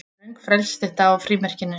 Röng frelsisstytta á frímerkinu